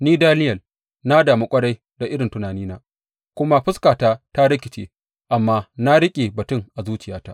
Ni, Daniyel na damu ƙwarai da irin tunanina, kuma fuskata ta rikice, amma na riƙe batun a zuciyata.